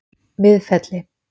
Miðfelli